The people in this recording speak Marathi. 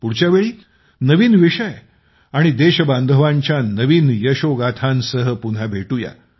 पुढच्या वेळी नवीन विषय आणि देशबांधवांच्या नवीन यशोगाथांसह पुन्हा भेटूया